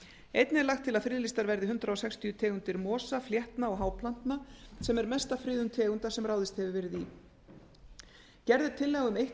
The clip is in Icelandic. einnig er lagt til að friðlýstar verði hundrað sextíu tegundir mosa fléttna og háplantna sem er mesta friðun tegunda sem ráðist hefur verið í gerð er tillaga um eitt